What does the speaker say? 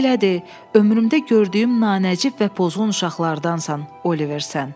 Belə de, ömrümdə gördüyüm nanəcib və pozğun uşaqlardansan, Oliver, sən.